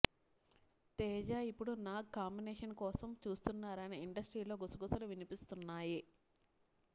తేజ ఇప్పుడు నాగ్ కాంబినేషన్ కోసం చూస్తున్నారని ఇండస్ట్రీలో గుసగుసలు వినిపిస్తున్నాయి